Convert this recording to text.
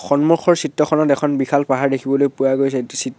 সন্মুখৰ চিত্ৰখনত এখন বিশাল পাহাৰ দেখিবলৈ পোৱা গৈছে ।